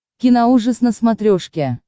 киноужас на смотрешке